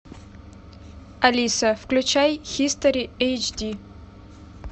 алиса включай хистори эйч ди